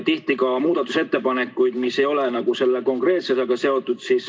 Tehti ka muudatusettepanekuid, mis ei ole selle konkreetse kohustusega seotud.